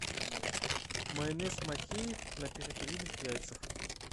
майонез махеев на перепелиных яйцах